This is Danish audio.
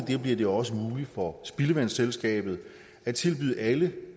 det bliver det også muligt for spildevandsselskabet at tilbyde alle